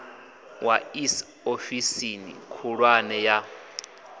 wa iss ofisini khulwane ya